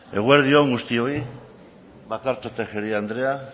eguerdi on guztioi bakartxo tejeria andrea